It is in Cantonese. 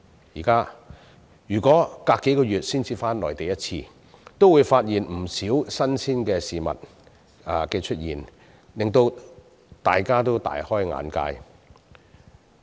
現在如果相隔數月才返回內地一次，便會發現有不少新鮮事物出現，令大家大開眼界。